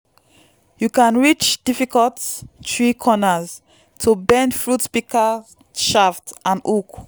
you can reach difficult tree corners to bend fruit pika shaft and hook